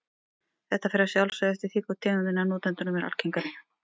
Þetta fer að sjálfsögðu eftir því hvor tegundin af notendunum er algengari.